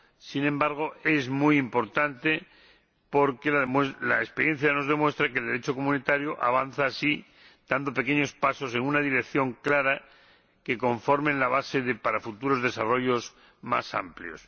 sin embargo es muy importante porque la experiencia nos demuestra que el Derecho comunitario avanza así, dando pequeños pasos, en una dirección clara, que conforman la base para futuros desarrollos más amplios.